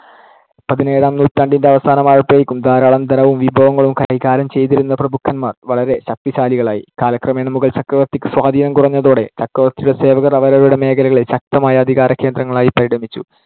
പതിനേഴാം നൂറ്റാണ്ടിന്‍ടെ അവസാനമായപ്പോഴേക്കും ധാരാളം ധനവും വിഭവങ്ങളും കൈകാര്യം ചെയ്തിരുന്ന പ്രഭുക്കന്മാർ വളരെ ശക്തിശാലികളായി. കാലക്രമേണ മുഗൾ ചക്രവർത്തിക്ക് സ്വാധീനം കുറഞ്ഞതോടെ ചക്രവർത്തിയുടെ സേവകർ അവരവരുടെ മേഖലകളിൽ ശക്തമായ അധികാരകേന്ദ്രങ്ങളായി പരിണമിച്ചു.